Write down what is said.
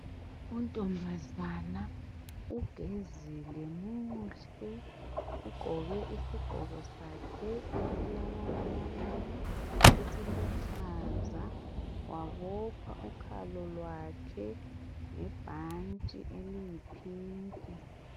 Untombazana ugezile muhle, ugqoke isigqoko sakhe esilamabalabala esiluhlaza wabopha ukhalo lwakhe ngebhanti eliyiphinki.